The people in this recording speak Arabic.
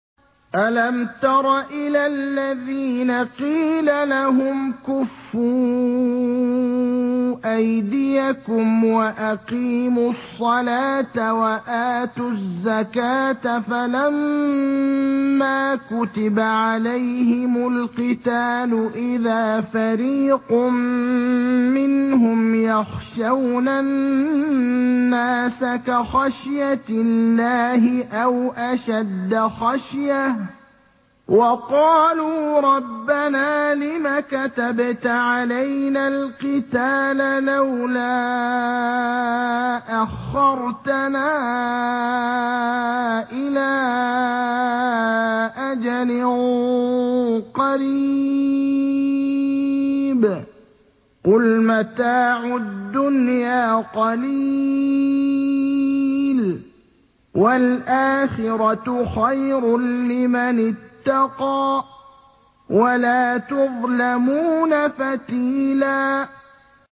أَلَمْ تَرَ إِلَى الَّذِينَ قِيلَ لَهُمْ كُفُّوا أَيْدِيَكُمْ وَأَقِيمُوا الصَّلَاةَ وَآتُوا الزَّكَاةَ فَلَمَّا كُتِبَ عَلَيْهِمُ الْقِتَالُ إِذَا فَرِيقٌ مِّنْهُمْ يَخْشَوْنَ النَّاسَ كَخَشْيَةِ اللَّهِ أَوْ أَشَدَّ خَشْيَةً ۚ وَقَالُوا رَبَّنَا لِمَ كَتَبْتَ عَلَيْنَا الْقِتَالَ لَوْلَا أَخَّرْتَنَا إِلَىٰ أَجَلٍ قَرِيبٍ ۗ قُلْ مَتَاعُ الدُّنْيَا قَلِيلٌ وَالْآخِرَةُ خَيْرٌ لِّمَنِ اتَّقَىٰ وَلَا تُظْلَمُونَ فَتِيلًا